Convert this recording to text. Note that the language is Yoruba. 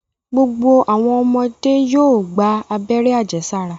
Gbogbo awọn ọmọde yoo gba abẹ́rẹ́ ajesara